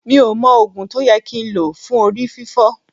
Mi ò mọ Ògùn tó yẹ kí n lò fún Orí fiífọ́.